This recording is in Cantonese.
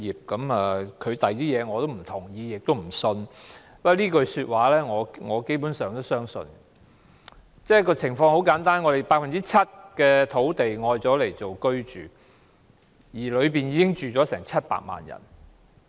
他在其他方面的意見，我不認同亦不相信；但他這句說話，我基本上也是相信的，因為很簡單，我們有 7% 的土地用作住屋，當中住了700萬人。